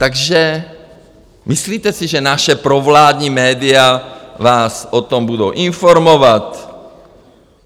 Takže myslíte si, že naše provládní média vás o tom budou informovat?